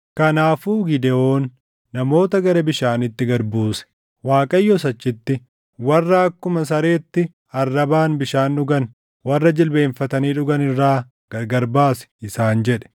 Kanaafuu Gidewoon namoota gara bishaaniitti gad buuse. Waaqayyos achitti, “Warra akkuma sareetti arrabaan bishaan dhugan, warra jilbeenfatanii dhugan irraa gargari baasi” isaan jedhe.